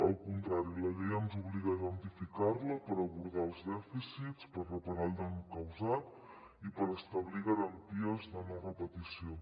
al contrari la llei ens obliga a identificar la per abordar els dèficits per reparar el dany causat i per establir garanties de no repetició